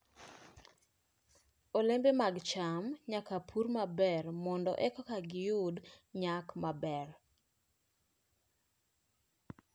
Olembe mag cham nyaka pur maber mondo eka giyud nyak maber.